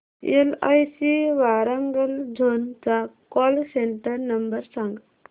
LIC Warangal zone चा call centre number सांग